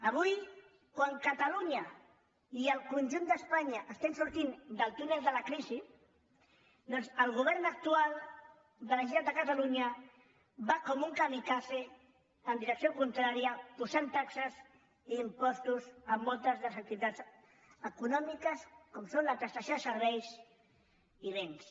avui quan catalunya i el conjunt d’espanya estem sortint del túnel de la crisi doncs el govern actual de la generalitat de catalunya va com un kamikaze en direcció contrària posant taxes i impostos en moltes de les activitats econòmiques com són la prestació de serveis i béns